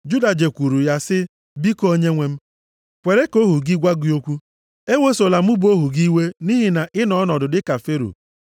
Juda jekwuuru ya, sị, “Biko, onyenwe m, kwere ka ohu gị gwa gị okwu. Ewesola mụ bụ ohu gị iwe nʼihi na ị nọ ọnọdụ dị ka Fero.